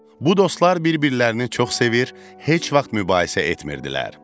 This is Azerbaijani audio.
Bu dostlar bir-birlərini çox sevir, heç vaxt mübahisə etmirdilər.